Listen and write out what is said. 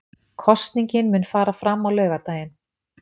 Kosningin mun fara fram á laugardaginn